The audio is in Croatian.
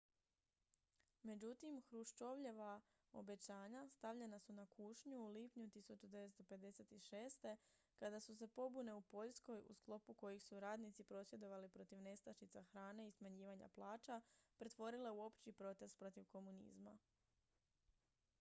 međutim hruščovljeva obećanja stavljena su na kušnju u lipnju 1956. kada su se pobune u poljskoj u sklopu kojih su radnici prosvjedovali protiv nestašica hrane i smanjivanja plaća pretvorile u opći protest protiv komunizma